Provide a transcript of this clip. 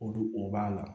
Olu o b'a la